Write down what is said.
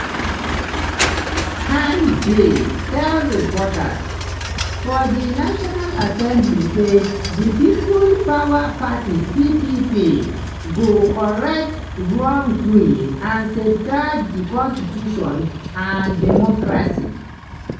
han bin tell reporters for di national assembly say di people power party (ppp) go "correct wrongdoing and safeguard di constitution and democracy".